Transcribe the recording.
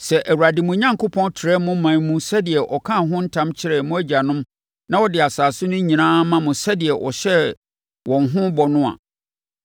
Sɛ Awurade mo Onyankopɔn trɛ mo ɔman mu sɛdeɛ ɔkaa ho ntam kyerɛɛ mo agyanom na ɔde asase no nyinaa ma mo sɛdeɛ ɔhyɛɛ wɔn ho bɔ no a,